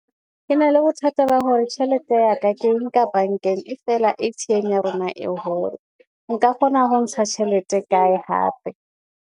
Ke na le bothata ba hore tjhelete ya ka ke nka bankeng e fela A_T_M ya rona e hole. Nka kgona ho ntsha tjhelete e kae hape.